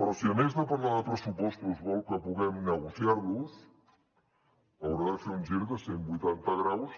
però si a més de parlar de pressupostos vol que puguem negociar los haurà de fer un gir de cent vuitanta graus